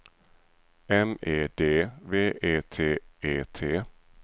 M E D V E T E T